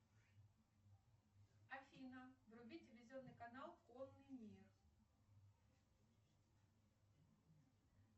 афина вруби телевизионный канал конный мир